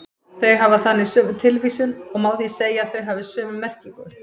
Þau hafa þannig sömu tilvísun og má því segja að þau hafi sömu merkingu.